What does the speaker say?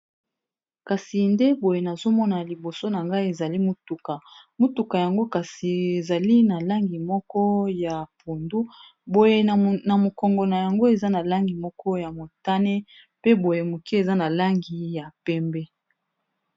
kasi nde boye nazomona liboso na ngai ezali motuka motuka yango kasi ezali na langi moko ya pondu boye na mokongo na yango eza na langi moko ya motane pe boye moke eza na langi ya pembe